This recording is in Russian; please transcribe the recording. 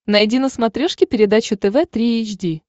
найди на смотрешке передачу тв три эйч ди